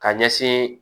Ka ɲɛsin